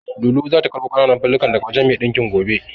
Lulu zata karɓo ƙananan fulallikan daga wajen mai ɗinkin gobe.